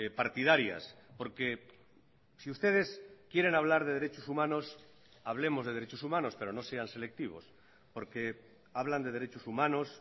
partidarias porque si ustedes quieren hablar de derechos humanos hablemos de derechos humanos pero no sean selectivos porque hablan de derechos humanos